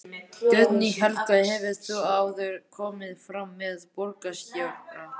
Guðný Helga: Hefurðu áður komið fram með borgarstjóra?